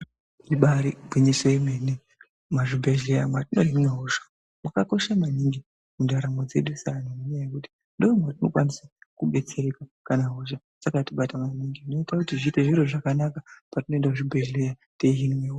Ibari gwinyiso yemene. Muzvibhedhleya mwatinohina hosha mwakakosha maningi mundaramo dzedu seanhu ngendaa yekuti ndomatinokwanisa kudetsereka kana hosha dzakatibata maningi zvinoita zviite zviri zvakanaka patinoenda kuzvibhehlera teihinwa hosha.